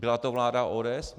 Byla to vláda ODS?